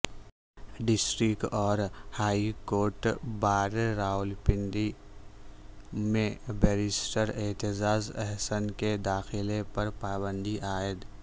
district اور high court bar Rawalpindi میں barrister Aitzaz Ahsan کے داخلے پر پابندی عائد